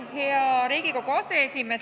Hea Riigikogu aseesimees!